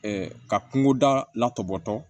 ka kungo da latɔbɔtɔ